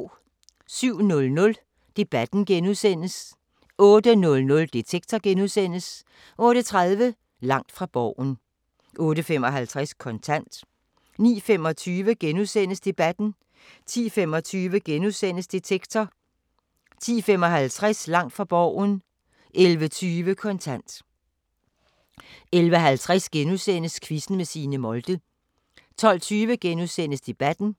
07:00: Debatten * 08:00: Detektor * 08:30: Langt fra Borgen 08:55: Kontant 09:25: Debatten * 10:25: Detektor * 10:55: Langt fra Borgen 11:20: Kontant 11:50: Quizzen med Signe Molde * 12:20: Debatten *